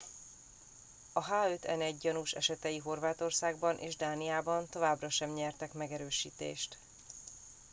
a h5n1 gyanús esetei horvátországban és dániában továbbra sem nyertek megerősítést